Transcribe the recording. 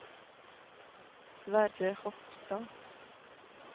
Sverre Hofstad